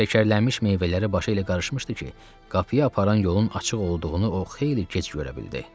Şəkərlənmiş meyvələrlə başı elə qarışmışdı ki, qapıya aparan yolun açıq olduğunu o xeyli gec görə bildi.